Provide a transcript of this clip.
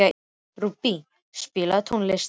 Rúbý, spilaðu tónlist.